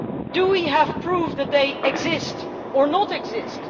Do we have proof that they exist or do not exist?